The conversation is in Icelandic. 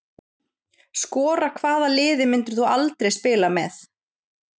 Skora Hvaða liði myndir þú aldrei spila með?